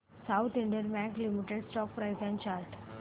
south Indian bank limited stock price and chart